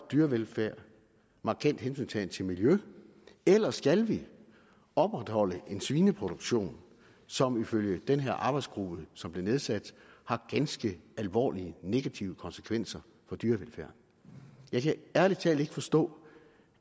dyrevelfærd markant hensyntagen til miljø eller skal vi opretholde en svineproduktion som ifølge den her arbejdsgruppe som blev nedsat har ganske alvorlige negative konsekvenser for dyrevelfærden jeg kan ærlig talt ikke forstå